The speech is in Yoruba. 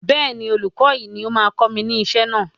bẹ́ẹ̀ni, olùkọ́ yìí ni ó máa ń kọ́ mi ní isẹ́ náà